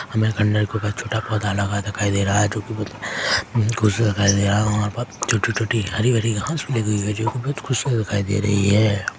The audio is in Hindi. हमें अंदर एक छोटा पौधा लगा दिखाई दे रहा है जो की बहुत खूबसूरत दिखाई दे रहा है वहाँ पर छोटी छोटी हरी भरी घास लगी हुई है जो की बहुत खूबसूरत दिखाई दे रही हैं।